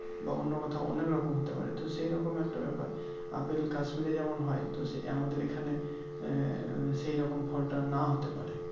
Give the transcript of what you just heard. বা অন্য কোথাও অনেকরকম হতে পারে তো সেই রকম একটা ব্যাপার আপেল kasmir এ যেমন হয় তো সে আমাদের এই খানে আহ সেই রকম ফলটা না হতে পারে